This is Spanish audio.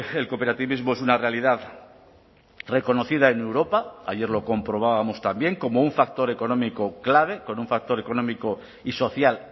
el cooperativismo es una realidad reconocida en europa ayer lo comprobábamos también cómo un factor económico clave con un factor económico y social